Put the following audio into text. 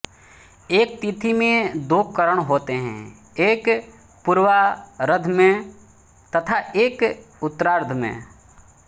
एक तिथि में दो करण होते हैं एक पूर्वार्ध में तथा एक उत्तरार्ध में